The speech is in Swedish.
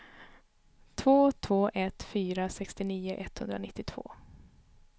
två två ett fyra sextionio etthundranittiotvå